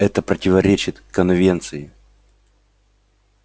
это противоречит конвенции